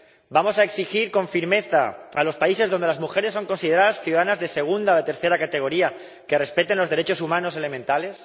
¿Vamos a exigir con firmeza a los países donde las mujeres son consideradas ciudadanas de segunda o de tercera categoría que respeten los derechos humanos elementales?